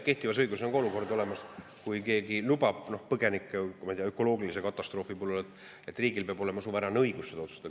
Kehtivas õiguses on olemas, et kui keegi põgenikke ökoloogilise katastroofi puhul, siis riigil peab olema suveräänne õigus otsustada.